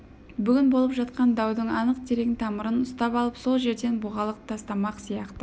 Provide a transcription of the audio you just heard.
бүгін болып жатқан даудың анық терең тамырын ұстап алып сол жерден бұғалық тастамақ сияқты